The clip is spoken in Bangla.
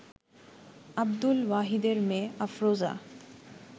আব্দুল ওয়াহিদের মেয়ে আফরোজা